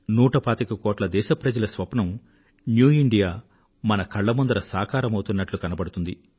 నూట పాతిక కోట్ల మంది దేశ ప్రజల స్వప్నం న్యూ ఇండియా మన కళ్ల ముందర సాకారమౌతున్నట్లు కనబడుతుంది